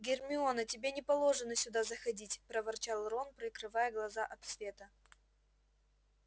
гермиона тебе не положено сюда заходить проворчал рон прикрывая глаза от света